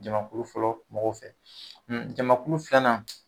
Jamakulu fɔlɔ mɔgɔw fɛ jamakulu filanan